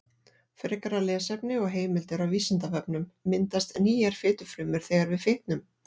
Frekara lesefni og heimildir á Vísindavefnum: Myndast nýjar fitufrumur þegar við fitnum?